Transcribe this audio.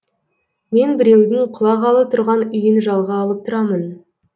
мен біреудің құлағалы тұрған үйін жалға алып тұрамын